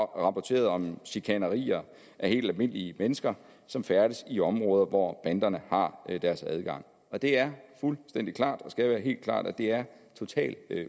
rapporteret om chikanerier af helt almindelige mennesker som færdes i områder hvor banderne har deres gang og det er fuldstændig klart og skal være helt klart at det er totalt